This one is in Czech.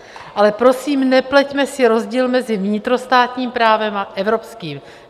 Ale prosím, nepleťme si rozdíl mezi vnitrostátním právem a evropským.